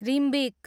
Rimbik